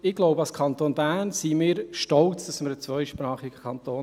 Ich denke, als Kanton Bern sind wir stolz darauf, ein zweisprachiger Kanton zu sein.